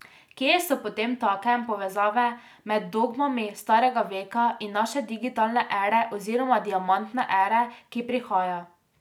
Kje so potemtakem povezave med dogmami starega veka in naše digitalne ere oziroma diamantne ere, ki prihaja?